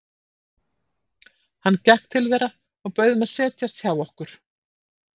Hann gekk til þeirra og bauð þeim að setjast hjá okkur.